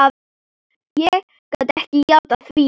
Ég gat ekki játað því.